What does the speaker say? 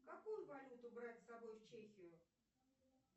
какую валюту брать с собой в чехию